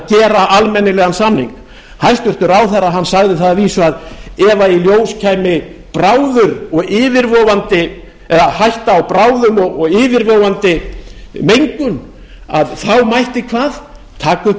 gera almennilegan samning hæstvirtur ráðherra sagði það að vísu að ef í ljós kæmi bráður og yfirvofandi hætta á bráðum og yfirvofandi mengun þá mætti hvað taka upp